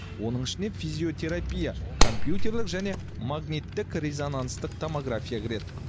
оның ішіне физиотерапия компьютерлік және магниттік резонанстық томография кіреді